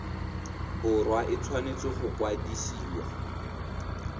borwa e tshwanetse go kwadisiwa